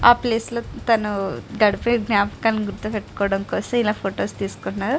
ఆ ప్లేస్ లో తను గడిపే జ్ఞాపకం గుర్తుపెట్టుకోవడం కోసం ఇలా ఫోటోస్ తీసుకుంటున్నాడు.